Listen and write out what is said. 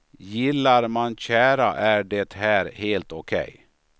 Gillar man tjära är det här helt okej.